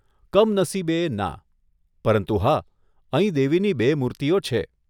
કમનસીબે, ના, પરંતુ હા, અહીં દેવીની બે મૂર્તિઓ છે.